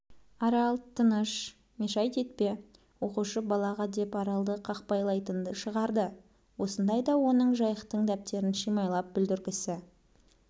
арал тыныш мешайт етпе оқушы балаға деп аралды қақпайлайтынды шығарды осындайда оның жайықтың дәптерін шимайлап бүлдіргісі